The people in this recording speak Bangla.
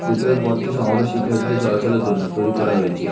ভিতরের পথটি সম্ভবত শিক্ষার্থীদের চলাচলের জন্য তৈরি করা হয়েছে।